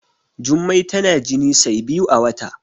Jummai tana jini sai biyu a wata